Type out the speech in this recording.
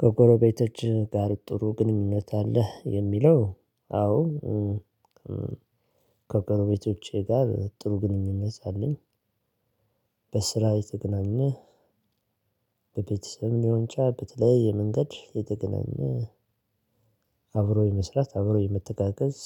ከጎረቤቶችህ ጋር ጥሩ ግንኙነት አለህ? የሚለው አዎ ከጎረቤቶቼ ጋር ጥሩ ግንኙነት አለኝ። በስራ የተገናኘ በቤተሰብ ሊሆን ይችላል በተለይ የመንገድ የተገናኘ። አብሮ የመስራት አብሮ የመተጋገዝ